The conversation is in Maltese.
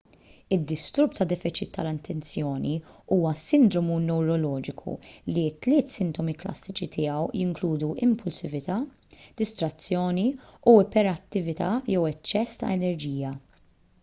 id-disturb ta' defiċit tal-attenzjoni huwa sindromu newroloġiku li t-tliet sintomi klassiċi tiegħu jinkludu impulsività distrazzjoni u iperattività jew eċċess ta' enerġija